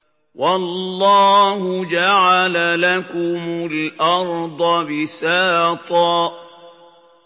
وَاللَّهُ جَعَلَ لَكُمُ الْأَرْضَ بِسَاطًا